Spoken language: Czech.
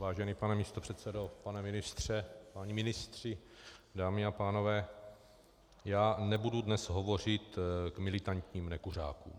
Vážený pane místopředsedo, pane ministře, páni ministři, dámy a pánové, já nebudu dnes hovořit k militantním nekuřákům.